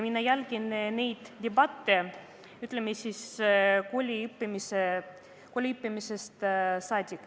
Mina jälgin neid debatte, ütleme, koolis õppimisest saadik.